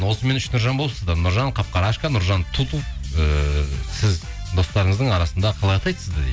осымен үш нұржан болыпсыздар нұржан қап қарашқа нұржан тутов ііі сіз достарыңыздың арасында қалай атайды сізді дейді